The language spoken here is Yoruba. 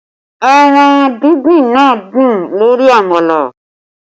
Ẹran díndín náà dùn lórí àmàlà